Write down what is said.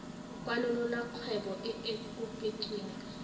kwalolola kgwebo e e kopetsweng